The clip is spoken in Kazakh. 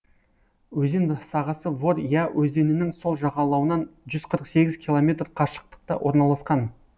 өзен сағасы вор я өзенінің сол жағалауынан жүз қырық сегіз километр қашықтықта орналасқан